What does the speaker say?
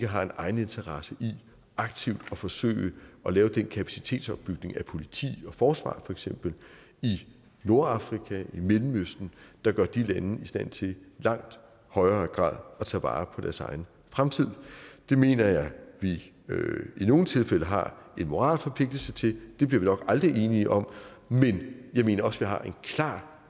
har en egeninteresse i aktivt at forsøge at lave den kapacitetsopbygning af politi og forsvar for eksempel i nordafrika i mellemøsten der gør de lande i stand til i langt højere grad at tage vare på deres egen fremtid det mener jeg at vi i nogle tilfælde har en moralsk forpligtelse til det bliver vi nok aldrig enige om men jeg mener også har en klar